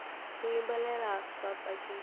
ku yimbelela swa tsakisa